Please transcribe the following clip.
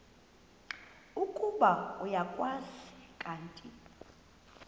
ukuba uyakwazi kanti